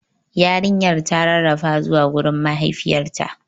Yarinyar ta rarrafa zuwa gurin mahaifiyarta.